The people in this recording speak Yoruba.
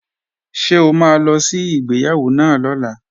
Ṣé o máa lọ sí ìgbéyàwó náà lọ́la?